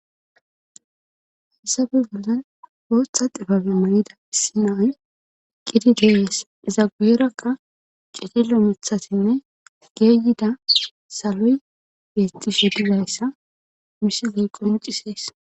hessabe bollan ooththa xifabe mayida issi nay qidi geeyes zagerakka cidilo mithatinne geeyida saloy beetti shodizayssa misiley qoncisees